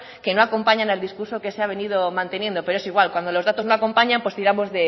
que no acompañan al discurso que se ha venido manteniendo pero es igual cuando los datos no acompañan pues tiramos